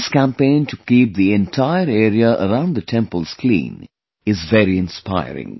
This campaign to keep the entire area around the temples clean is very inspiring